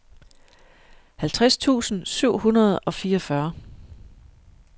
halvtreds tusind syv hundrede og fireogfyrre